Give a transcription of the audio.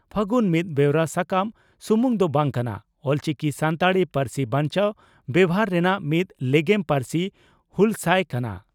ᱯᱷᱟᱹᱜᱩᱱ ᱢᱤᱫ ᱵᱮᱣᱨᱟ ᱥᱟᱠᱟᱢ ᱥᱩᱢᱩᱝ ᱫᱚ ᱵᱟᱝ ᱠᱟᱱᱟ, ᱚᱞᱪᱤᱠᱤ ᱥᱟᱱᱛᱟᱲᱤ ᱯᱟᱹᱨᱥᱤ ᱵᱟᱧᱪᱟᱣ ᱵᱮᱵᱷᱟᱨ ᱨᱮᱱᱟᱜ ᱢᱤᱫ ᱞᱮᱜᱮᱢ ᱯᱟᱹᱨᱥᱤ ᱦᱩᱞᱥᱟᱹᱭ ᱠᱟᱱᱟ ᱾